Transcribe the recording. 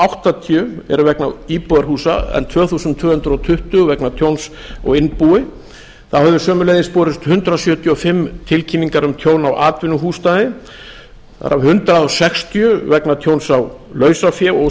áttatíu eru vegna íbúðarhúsa en tvö þúsund tvö hundruð tuttugu vegna tjóns á innbúi þá höfðu sömuleiðis borist hundrað sjötíu og fimm tilkynningar um tjón á atvinnuhúsnæði það er hundrað sextíu vegna tjóns á lausafé og